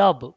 Labh